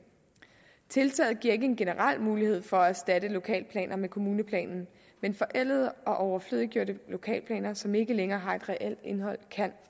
tiltaget giver ikke en generel mulighed for at erstatte lokalplaner med kommuneplanen men forældede og overflødiggjorte lokalplaner som ikke længere har et reelt indhold kan